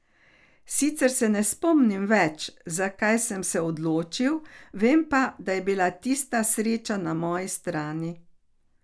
Sicer se ne spomnim več, za kaj sem se odločil, vem pa, da je bila tistikrat sreča na moji strani.